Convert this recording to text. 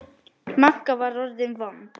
Magga var orðin vond.